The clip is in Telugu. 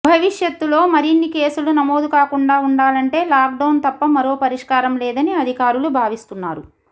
భవిష్యత్తుల్లో మరిన్ని కేసులు నమోదు కాకుండా ఉండాలంటే లాక్డౌన్ తప్ప మరో పరిష్కారం లేదని అధికారులు భావిస్తున్నారు